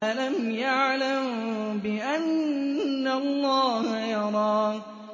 أَلَمْ يَعْلَم بِأَنَّ اللَّهَ يَرَىٰ